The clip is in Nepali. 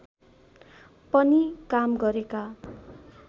पनि काम गरेका